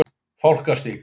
Fálkastíg